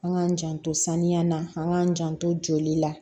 An k'an janto saniya la an k'an janto joli la